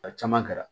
A caman kɛra